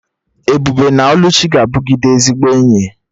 Ebube na Oluchi ga-abụgide ezigbo enyi